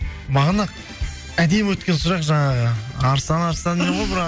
бағана әдемі өткен сұрақ жаңағы арыстан арыстан